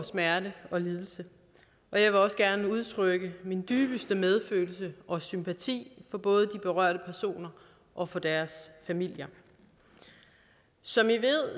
smerte og lidelse jeg vil også gerne udtrykke min dybeste medfølelse og sympati for både de berørte personer og for deres familier som i ved